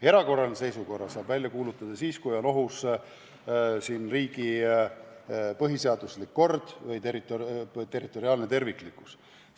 Erakorralise seisukorra saab välja kuulutada siis, kui on ohus riigi põhiseaduslik kord või territoriaalne terviklikkus.